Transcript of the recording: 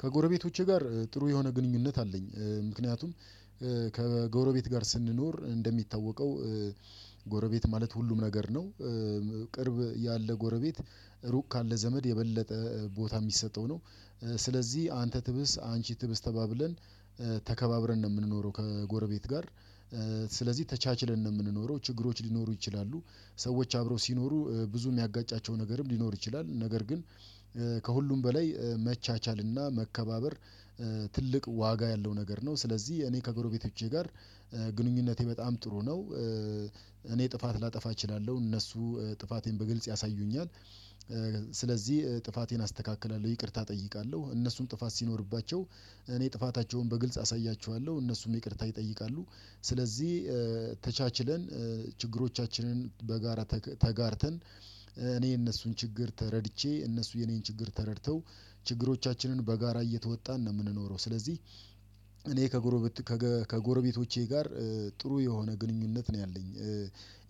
ከጎረቤቶቼ ጋር ጥሩ የሆነ ግንኙነት አለኝ። ምክንያቱም ከጎረቤት ጋር ስንኖር እንደሚታወቀው ጎረቤት ማለት ሁሉም ነገር ነው ቅርብ ያለ ጎረቤት ሩቅ ካለ ዘመድ የበለጠ ቦታ የሚሰጠው ነው። ስለዚህ አንተ ትብስ አንቺ ትብስ ተባብለን ተከባብረን ነው የምንኖረው ከጎረቤት ጋር። ስለዚህ ተቻችለን ነው የምንኖረው ችግሮች ሊኖሩ ይችላሉ ሰዎች አብረው ሲኖሩ ብዙ የሚያጋጫቸው ነገርም ሊኖር ይችላል ነገር ግን ከሁሉም በላይ መቻቻልና መከባበር ትልቅ ዋጋ ያለው ነገር ነው። ስለዚህ እኔ ከጎረቤቶቼ ጋር ግንኙነቴ በጣም ጥሩ ነው። እኔ ጥፋት ላጠፋ እችላለሁ እነሱ ጥፋቴን በግልጽ ያሳዩኛል። ስለዚህ ጥፋቴን አስተካክላለሁ ይቅርታ እጠይቃለሁ እነሱም ጥፋት ሲኖርባቸው እኔ ጥፋታቸውን በግልጽ አሳያችኋለሁ እነሱም ይቅርታ ይጠይቃሉ። ስለዚህ ተቻችለን ችግሮቻችንን በጋራ ተጋርተን እኔ የነሱን ችግር ተረድቼ እነሱ የኔን ችግር ተረድተው ችግሮቻችንን በጋራ እየተወጣን ነው የምንኖረው ስለዚህ። እኔ ከጎረቤቶቼ ጋር ጥሩ የሆነ ግንኙነት ነው ያለኝ።